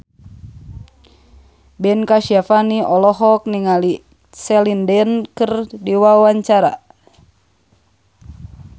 Ben Kasyafani olohok ningali Celine Dion keur diwawancara